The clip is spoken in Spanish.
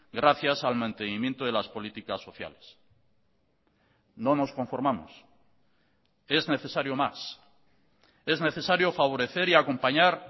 gracias al mantenimiento de las políticas sociales no nos conformamos es necesario más es necesario favorecer y acompañar